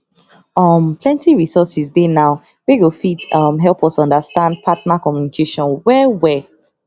um plenty resources dey now wey go fit um help us understand partner communication well well